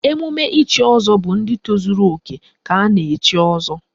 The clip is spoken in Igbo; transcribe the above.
Emume ichi ọzọ bụ ndị tozuru òkè ka a na-echi ọzọ